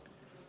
Palun!